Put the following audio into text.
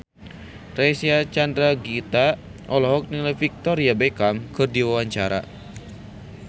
Reysa Chandragitta olohok ningali Victoria Beckham keur diwawancara